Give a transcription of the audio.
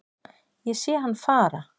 Ég sé hann fara